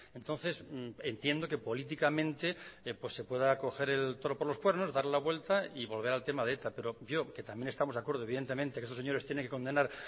entonces entiendo que políticamente pues se pueda coger el toro por los cuernos darle la vuelta y volver al tema de eta pero yo que también estamos de acuerdo evidentemente que estos señores tienen que condenar